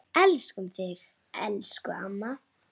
Elskum þig, elsku amma.